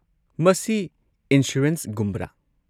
ꯃꯁꯤ ꯏꯟꯁꯨꯔꯦꯟꯁꯒꯨꯝꯕꯔꯥ?